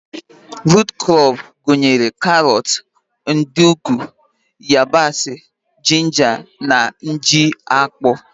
Rut krọp gụnyere karọt, nduku, yabasị, jinja na ji akpụ.